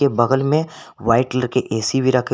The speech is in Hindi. के बगल में व्हाइट कलर के ए_सी भी रखे हुए--